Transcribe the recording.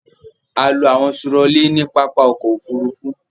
A lo àwọn turọlí ní pápá ọkọ̀-òfurufú.